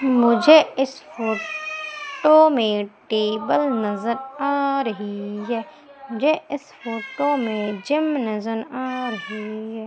मुझे इस फोटो में टेबल नजर आ रही है मुझे इस फोटो में जिम नजर आ रही है।